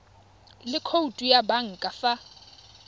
le khoutu ya banka fa